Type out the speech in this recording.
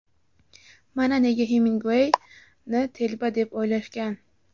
Mana nega Hemingway ni telba deb o‘ylashgan.